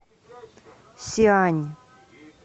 сиань